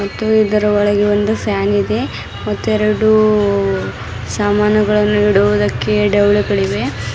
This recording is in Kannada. ಮತ್ತು ಇದರ ಒಳಗೆ ಇಂದು ಫ್ಯಾನ್ ಇದೆ ಮತ್ತು ಎರಡು ಸಾಮಾನುಗಳನ್ನು ಇಡುವುದಕ್ಕೆ ಡೌಲಗಳಿವೆ.